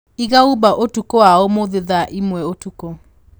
iga Uber ũtũkũ wa ũmũthĩ thaa ĩmwe ũtũkũ